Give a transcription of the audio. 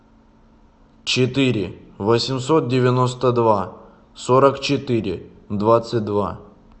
четыре восемьсот девяносто два сорок четыре двадцать два